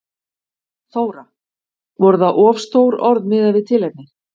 Þóra: Voru það of stór orð miðað við tilefnið?